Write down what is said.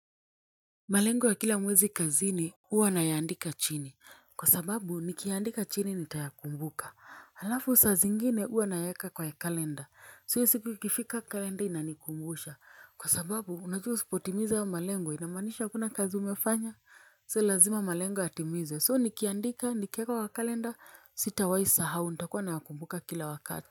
Malengo ya kila mwezi kazini huwa nayaandika chini kwa sababu nikiyaandika chini nitayakumbuka halafu saa zingine huwa nayaeka kwa ya kalenda so hiyo siku ikifika kalenda inanikumbusha kwa sababu unajua usipotimiza hayo malengo inamanisha hakuna kazi umefanya so lazima malengo yatimizwe so nikiandika nikieka wa kalenda sitawai sahau nitakuwa nayakumbuka kila wakati.